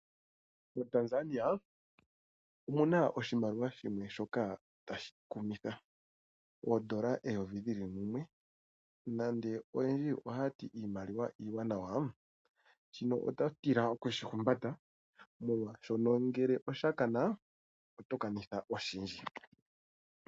MoTanzania omuna oshimaliwa shimwe shoka tashi kumitha .oondola eyovi lili mumwe. Nande oyendji ohaya ti iimaliwa iiwanawa, shino oto tila oku shi humbata, molwa shoka ngele osha kana, oto ka nitha oshindji.